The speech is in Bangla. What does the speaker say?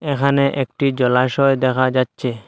এখানে একটি জলাশয় দেখা যাচ্ছে।